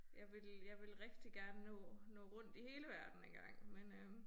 Jeg vil jeg vil rigtig gerne nå nå rundt i hele verden engang men øh